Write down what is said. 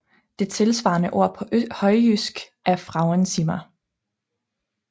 Det tilsvarende ord på højtysk er Frauenzimmer